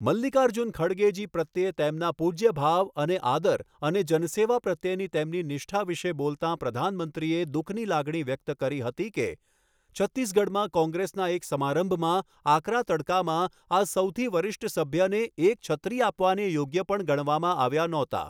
મલ્લિકાર્જુન ખડગેજી પ્રત્યે તેમના પૂજ્યભાવ અને આદર અને જનસેવા પ્રત્યેની તેમની નિષ્ઠા વિશે બોલતા પ્રધાનમંત્રીએ દુઃખની લાગણી વ્યક્ત કરી હતી કે, છત્તીસગઢમાં કોંગ્રેસના એક સમારંભમાં આકરાં તડકામાં આ સૌથી વરિષ્ઠ સભ્યને એક છત્રી આપવાને યોગ્ય પણ ગણવામાં આવ્યા નહોતા.